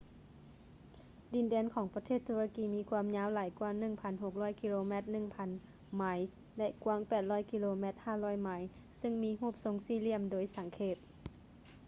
ດິນແດນຂອງປະເທດຕຸລະກີມີຄວາມຍາວຫຼາຍກ່ວາ 1,600 ກິໂລແມັດ 1,000 ໄມລ໌ ແລະ ກວ້າງ 800 ກິໂລແມັດ 500 ໄມລ໌ ເຊິ່ງມີຮູບຊົງສີ່ຫລ່ຽມໂດຍສັງເຂບ